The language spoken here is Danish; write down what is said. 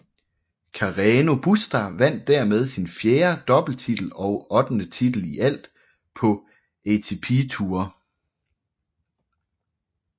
Carreño Busta vandt dermed sin fjerde doubletitel og ottende titel i alt på ATP Tour